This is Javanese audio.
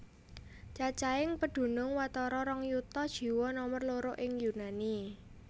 Cacahing pedunung watara rong yuta jiwa nomer loro ing Yunani